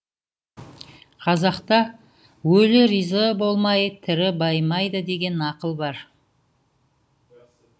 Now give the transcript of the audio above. қазақта өлі риза болмай тірі байымайды деген нақыл бар